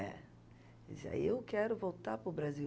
É. Dizia, aí, eu quero voltar para o Brasil.